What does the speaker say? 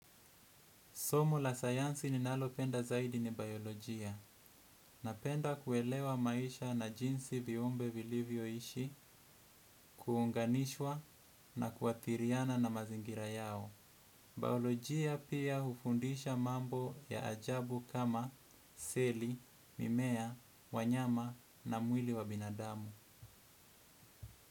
Somo la sayansi ninalo penda zaidi ni biolojia napenda kuelewa maisha na jinsi viumbe vilivyo ishi kuunganishwa na kuathiriana na mazingira yao. Biolojia pia hufundisha mambo ya ajabu kama seli, mimea, wanyama na mwili wa binadamu.